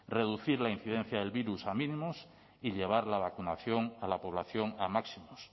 reducir la incidencia del virus a mínimos y llevar la vacunación a la población a máximos